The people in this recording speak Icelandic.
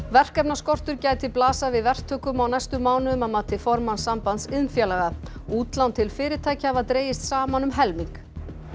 verkefnaskortur gæti blasað við verktökum á næstu mánuðum að mati formanns Sambands iðnfélaga útlán til fyrirtækja hafa dregist saman um helming